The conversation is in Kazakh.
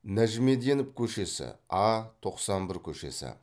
нәжімеденов көшесі а тоқсан бір көшесі